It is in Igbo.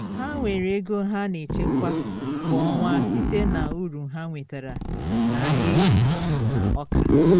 ha nwere ego ha na echekwa kwa ọnwa site na uru ha nwetara na ahịa ezi na ọka